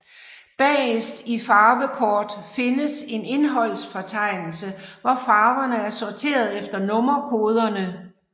Bagerst i farvekort findes en indholdsfortegnelse hvor farverne er sorteret efter nummerkoderne